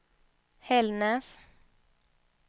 Hällnäs